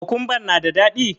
Kokumban na da daɗi?